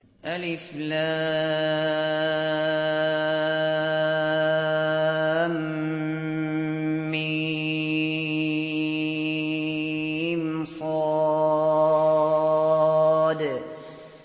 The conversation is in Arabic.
المص